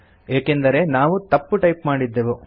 ಏಕೆಂದರೆ ನಾವು ತಪ್ಪು ಟೈಪ್ ಮಾಡಿದ್ದೆವು